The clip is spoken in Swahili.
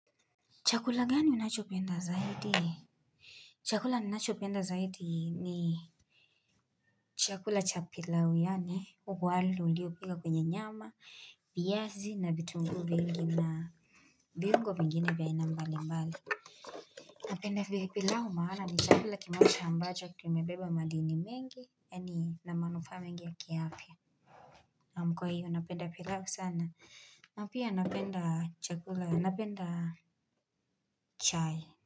Chakula gani unachopenda zaidi? Chakula ninachopenda zaidi ni chakula cha pilau yaani. Wali ulio pika kwenye nyama, viazi na vitunguu vingi na viungo vingine vya aina mbali mbali. Napenda pilau maana ni chakula kimoja ambacho kimebeba madini mengi. Yaani ina manufaa mengi ya kiafya. Naam kwa hiyo napenda pilau sana. Na pia napenda chakula, napenda chai.